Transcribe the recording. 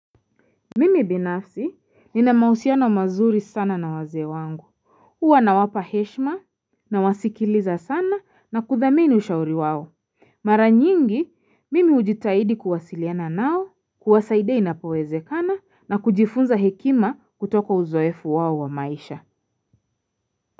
Mimi binafsi ninamausiano mazuri sana na wazee wangu, huwa nawapa heshima nawasikiliza sana na kuthamini ushauri wao Mara nyingi mimi hujitahidi kuwasiliana nao, kuwasaidia inapowezekana na kujifunza hekima kutoka uzoefu wao wa maisha.